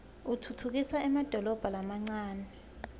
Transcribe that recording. utfutfukisa emadolobha lamancane